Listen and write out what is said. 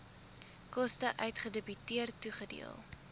koste uitgedebiteer toegedeel